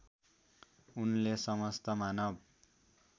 उनले समस्त मानव